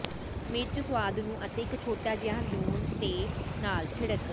ਮਿਰਚ ਸੁਆਦ ਨੂੰ ਅਤੇ ਇੱਕ ਛੋਟਾ ਜਿਹਾ ਲੂਣ ਦੇ ਨਾਲ ਛਿੜਕ